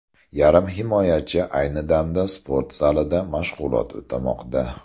Yarim himoyachi ayni damda sport zalida mashg‘ulot o‘tamoqda.